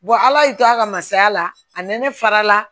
ala y'i to a ka masaya la a nɛnɛ fara la